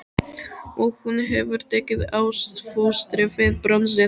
Og hún hefur tekið ástfóstri við bronsið.